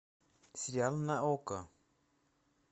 сериал на окко